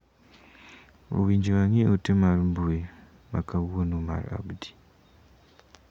Owinjo ang'i ote mar mbui ma kawuono mar Abdi.